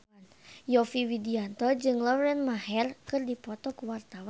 Yovie Widianto jeung Lauren Maher keur dipoto ku wartawan